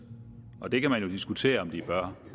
og det kan man jo diskutere om de bør